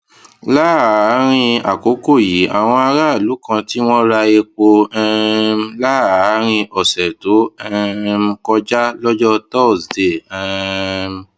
láàárín àkókò yìí àwọn aráàlú kan tí wọn ra epo um láàárín ọsẹ tó um kọjá lọjọ thursday um